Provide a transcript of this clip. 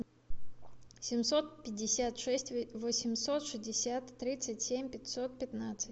семьсот пятьдесят шесть восемьсот шестьдесят тридцать семь пятьсот пятнадцать